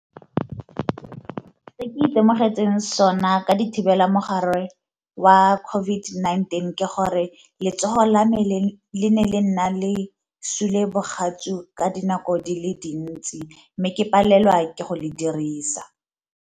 Se ke itemogetse sona ka di thibela mogare wa COVID-19 ke gore letsogo la me le nna le sule bogatsu ka dinako di le dintsi, mme ke palelwa ke go le dirisa.